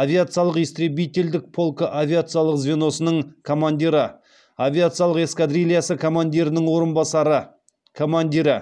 авиациялық истребителдік полкы авиациялық звеносының командирі авиациялық эскадрильясы командирінің орынбасары командирі